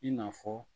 I n'a fɔ